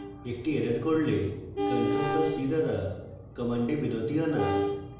একটি error করলে ctrl + c দ্বারা commands বিরতি আনা